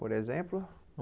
Por exemplo?